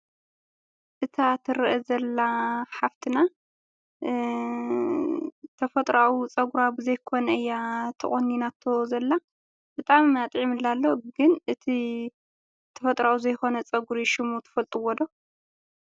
እታ ትረኣ ዘላ ሓፍትና ተፈጥራዊ ፀጉራ ብዘይኮና እያ ተቆኒናቶ ዘላ። ብጣዕሚ ኣጥዕሙላ ኣሎ። ግን እቲ ተፈጥራኣዊ ዘይኮነ ፀጉሪ ሽሙ ትፈልጥዎ ዶ?